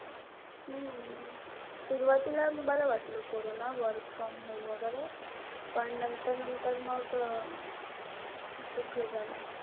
हम्म सुरवातीला बरं वाटलं कोरोना. Work from home वगैरे. पण नंतर-नंतर मग खूप हे झालं.